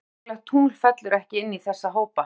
Eitt óreglulegt tungl fellur ekki inn í þessa hópa.